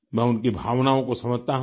मैं उनकी भावनाओं को समझता हूँ